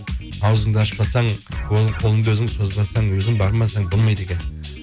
ауызыңды ашпасаң қолыңды өзің созбасаң өзің бармасаң болмайды екен